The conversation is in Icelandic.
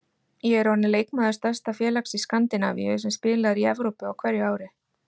Ég er orðinn leikmaður stærsta félags í Skandinavíu, sem spilar í Evrópu á hverju ári.